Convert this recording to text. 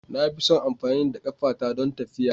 Na fi son amfani da ƙafata don tafiya.